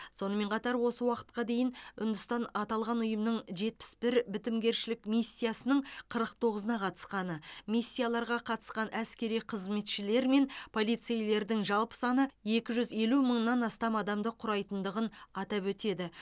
сонымен қатар осы уақытқа дейін үндістан аталған ұйымның жетпіс бір бітімгершілік миссиясының қырық тоғызына қатысқаны миссияларға қатысқан әскери қызметшілер мен полицейлердің жалпы саны екі жүз елу мыңнан астам адамды құрайтындығын атап өтеді